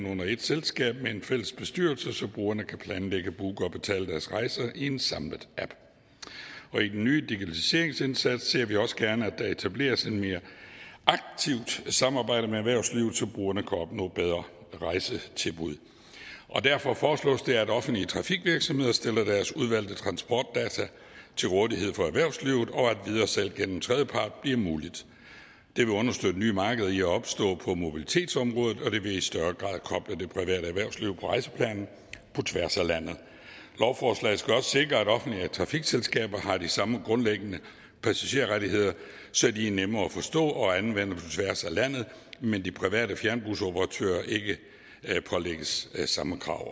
under et selskab med en fælles bestyrelse så brugerne kan planlægge booke og betale deres rejser i én samlet app i den nye digitaliseringsindsats ser vi også gerne at der etableres et mere aktivt samarbejde med erhvervslivet så brugerne kan opnå bedre rejsetilbud derfor foreslås det at offentlige trafikvirksomheder stiller deres udvalgte transportdata til rådighed for erhvervslivet og at videresalg gennem tredjepart bliver muligt det vil understøtte nye markeder i at opstå på mobilitetsområdet og det vil i større grad koble det private erhvervsliv på rejseplanen på tværs af landet lovforslaget skal også sikre at offentlige trafikselskaber har de samme grundlæggende passagerrettigheder så de er nemme at forstå og anvende på tværs af landet mens de private fjernbusoperatører ikke pålægges samme krav